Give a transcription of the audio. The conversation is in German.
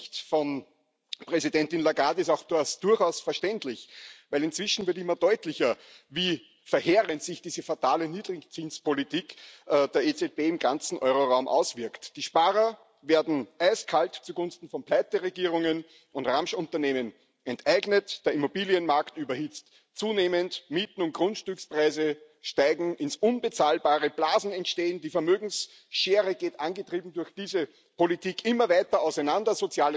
Aus Sicht von Präsidentin Lagarde ist das auch durchaus verständlich, weil inzwischen immer deutlicher wird, wie verheerend sich diese fatale Niedrigzinspolitik der EZB im ganzen Euroraum auswirkt. Die Sparer werden eiskalt zugunsten von Pleiteregierungen und Ramschunternehmen enteignet, der Immobilienmarkt überhitzt zunehmend, Mieten und Grundstückspreise steigen ins Unbezahlbare, Blasen entstehen, die Vermögensschere geht angetrieben durch diese Politik immer weiter auseinander.